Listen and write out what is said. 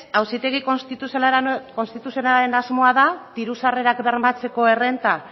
auzitegi konstituzionalaren asmoa da diru sarrerak bermatzeko errenta